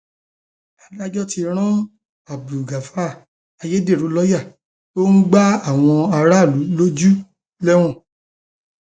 adájọ tí abdulgafar ayédèrú lọọyà tó ń gba àwọn aráàlú lójú lẹwọn